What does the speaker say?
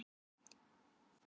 Við eigum það öll skilið!